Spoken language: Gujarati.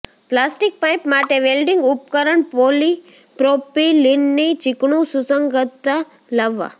પ્લાસ્ટિક પાઇપ માટે વેલ્ડિંગ ઉપકરણ પોલીપ્રોપીલિનની ચીકણું સુસંગતતા લાવવા